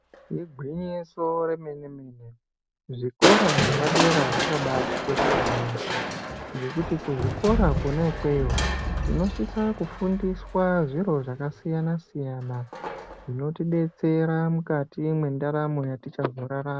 Igwinyiso remene-mene zvikora zvepadera zvakabatikoshera yaambo. Ngekuti kuzvikora kona ikweyo tinosisa kufundiswa zviro zvakasiyana-siyana zvinotibetsera mukati mendaramo yetichazorarama.